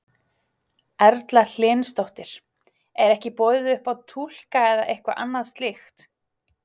Erla Hlynsdóttir: Er ekki boðið upp á túlka eða eitthvað annað slíkt?